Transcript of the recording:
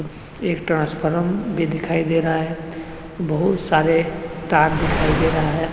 एक ट्रांसफॉर्म भी दिखाई दे रहा है बहुत सारे तार दिखाई दे रहा है।